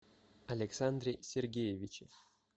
александре сергеевиче